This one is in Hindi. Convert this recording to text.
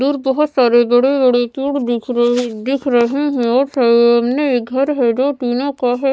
दूर और बहुत सारे बड़े बड़े तूड़ दिख रह दिख रहे हैं और सामने एक घर है जो टीना का है।